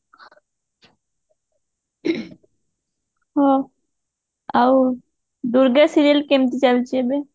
ହଁ ଆଉ ଦୂର୍ଗା serial କେମିତି ଚାଲିଛି ଏବେ